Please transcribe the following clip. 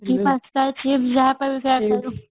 maggie pasta chips ଯାହାପାଇଲୁ ତାହା ଖାଉଥିଲୁ